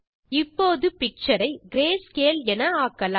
இப்போது பிக்சர் ஐ கிரேஸ்கேல் ஆக்கலாம்